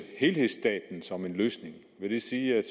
helhedsstaten som en løsning vil det sige at